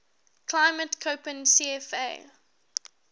climate koppen cfa